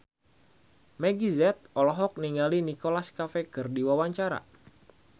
Meggie Z olohok ningali Nicholas Cafe keur diwawancara